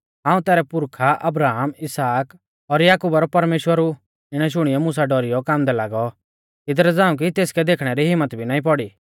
हाऊं तैरै पुरखा अब्राहम इसहाक और याकुबा रौ परमेश्‍वर ऊ इणै शुणियौ मुसा डौरीयौ कांबदै लागौ इदरा झ़ांऊ कि तेसकै देखणै री हिम्मत भी नाईं पौड़ी